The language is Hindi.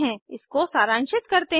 इसको सरांशित करते हैं